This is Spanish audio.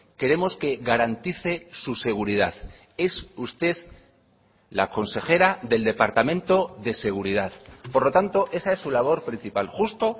queremos que garantice su seguridad es usted la consejera del departamento de seguridad por lo tanto esa es su labor principal justo